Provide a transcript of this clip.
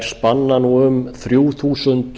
spanna nú um þrjú þúsund